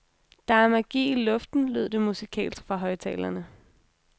Der er magi i luften, lød det musikalsk fra højttalerne.